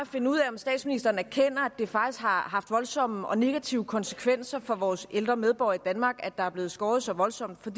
at finde ud af om statsministeren erkender at det faktisk har haft voldsomme og negative konsekvenser for vores ældre medborgere i danmark at der er blevet skåret så voldsomt for